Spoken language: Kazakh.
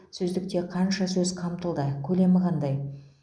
сөздікте қанша сөз қамтылды көлемі қандай